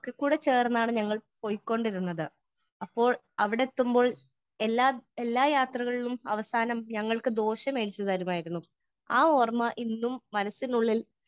Speaker 1 ഒക്കെ കൂടെ ചേർന്നാണ് ഞങ്ങൾ പൊയ്ക്കൊണ്ടിരുന്നത് . അപ്പോൾ അവിടെത്തുമ്പോൾ എല്ലാ എല്ലാ യാത്രകളിലും ഞങ്ങൾക്ക് ദോശ മേടിച്ചു തരുമായിരുന്നു. ആ ഓർമ ഇന്നും മനസ്സിനുള്ളിൽ